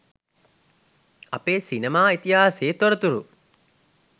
අපේ සිනමා ඉතිහාසයේ තොරතුරු